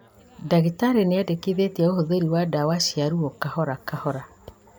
Ndagĩtarĩ nĩendekithĩtie ũhũthĩri wa ndawa cia ruo kahora kahora